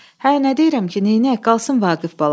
Hə, nə deyirəm ki, neynəyək, qalsın Vaqif balam.